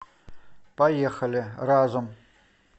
поехали разум